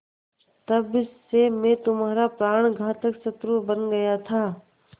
तब से मैं तुम्हारा प्राणघातक शत्रु बन गया था